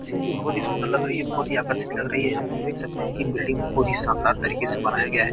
ऐसे में भी बहुत सुन्दर लग रही है बहुत ही आकर्षित लग रही है यहाँ पे हम देख सकते है कि एक बिल्डिंग बहुत ही शानदार तरीके से बनाया गया है।